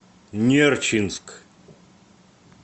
нерчинск